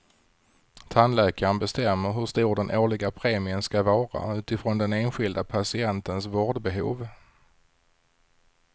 Tandläkaren bestämmer hur stor den årliga premien ska vara utifrån den enskilda patientens vårdbehov.